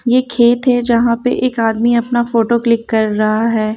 ये खेत है जहाँ पर एक आदमी अपना फोटो क्लिक कर रहा है।